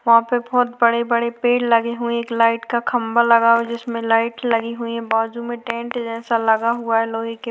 वहाँ पे बहोत बड़े-बड़े पेड़ लगे हुए है एक लाइट का खम्बा लगा हुआ है जिसमे लाइट लगी हुई हैं बाजु में टेन्ट जैसा लगा हुआ है--